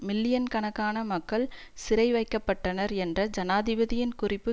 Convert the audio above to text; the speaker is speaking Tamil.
மில்லியன் கணக்கான மக்கள் சிறைவைக்கப்பட்டனர் என்ற ஜனாதிபதியின் குறிப்பு